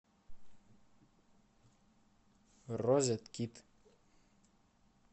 розеткид